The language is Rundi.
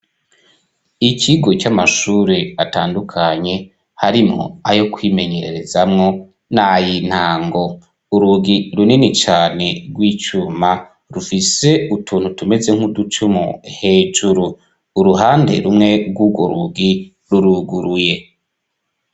Ikigo c'amashuri atandukanye harimo ayo kwimenyerezamo nayi ntango urugi runini cytane rw'icuma rufise utuntu tumeze nk'uducumu hejuru uruhande rumwe rw'ugo rugi ruruguruye.